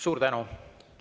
Suur tänu!